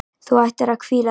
Þú ættir að hvíla þig.